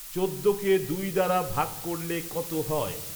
চৌদ্দকে দুই দ্বারা ভাগ করলে কত হয়